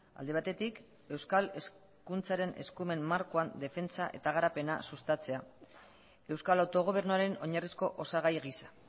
alde batetik euskal hezkuntzaren eskumen markoan defentsa eta garapena sustatzea euskal autogobernuaren oinarrizko osagai gisa